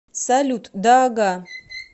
салют да ага